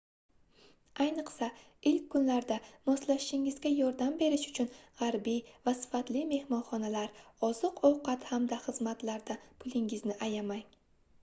ayniqsa ilk kunlarda moslashishingizga yordam berishi uchun gʻarbiy va sifatli mehmonxonalar oziq-ovqat hamda xizmatlardan pulingizni ayamang